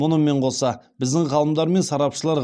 мұнымен қоса біздің ғалымдар мен сарапшылар